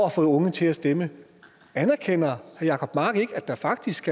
at få unge til at stemme anerkender herre jacob mark ikke at der faktisk